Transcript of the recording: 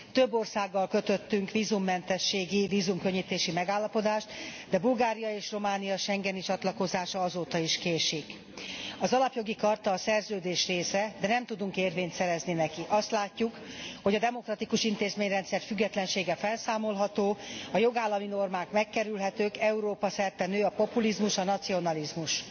Több országgal kötöttünk vízummentességi, vízumkönnyítési megállapodást, de Bulgária és Románia schengeni csatlakozása azóta is késik. Az Alapjogi Charta a szerződés része, de nem tudunk érvényt szerezni neki azt látjuk, hogy a demokratikus intézményrendszer függetlensége felszámolható, a jogállami normák megkerülhetők, Európa szerte nő a populizmus, a nacionalizmus.